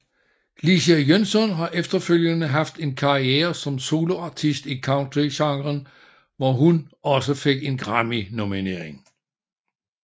Lecia Jønsson har efterfølgende haft en karriere som soloartist i Country genren hvor hun også fik en grammynominering